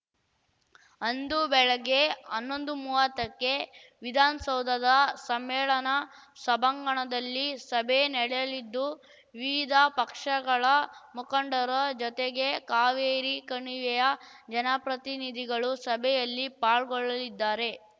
ಅಂದು ಬೆಳಗ್ಗೆ ಅನ್ನೊಂದುಮೂವತ್ತಕ್ಕೆ ವಿಧಾನಸೌಧದ ಸಮ್ಮೇಳನ ಸಭಾಂಗಣದಲ್ಲಿ ಸಭೆ ನಡೆಯಲಿದ್ದು ವಿವಿಧ ಪಕ್ಷಗಳ ಮುಖಂಡರ ಜೊತೆಗೆ ಕಾವೇರಿ ಕಣಿವೆಯ ಜನಪ್ರತಿನಿಧಿಗಳೂ ಸಭೆಯಲ್ಲಿ ಪಾಲ್ಗೊಳ್ಳಲಿದ್ದಾರೆ